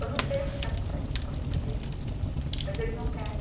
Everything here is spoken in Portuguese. Eu não sei o que que acontece na cabeça deles, mas eles não querem.